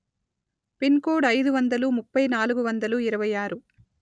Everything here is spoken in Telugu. పిన్ కోడ్ అయిదు వందలు ముప్పై నాలుగు వందలు ఇరవై ఆరు